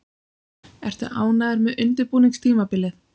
Ertu ánægður með undirbúningstímabilið?